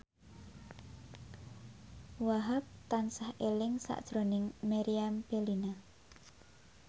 Wahhab tansah eling sakjroning Meriam Bellina